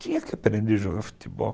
Tinha que aprender a jogar futebol.